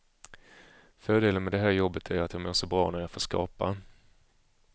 Fördelen med det här jobbet är att jag mår så bra när jag får skapa.